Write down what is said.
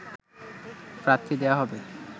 প্রার্থী দেয়া হবে